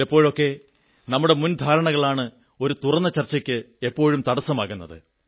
ചിലപ്പോഴൊക്കെ നമ്മുടെ മുൻധാരണകളാണ് ഒരു തുറന്ന ചർച്ചയ്ക്ക് പലപ്പോഴും തടസ്സമാകുന്നത്